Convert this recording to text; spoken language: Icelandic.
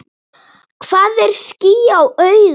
Hvað er ský á auga?